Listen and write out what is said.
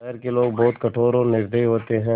शहर के लोग बहुत कठोर और निर्दयी होते हैं